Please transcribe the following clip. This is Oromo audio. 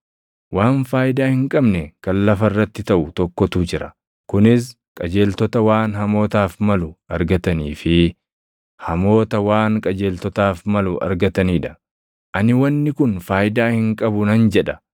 Waan faayidaa hin qabne kan lafa irratti taʼu tokkotu jira; kunis qajeeltota waan hamootaaf malu argatanii fi hamoota waan qajeeltotaaf malu argatanii dha. Ani wanni kun faayidaa hin qabu nan jedha.